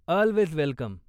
Always welcome!